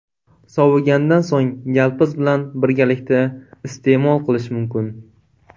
Sovigandan so‘ng yalpiz bilan birgalikda iste’mol qilish mumkin.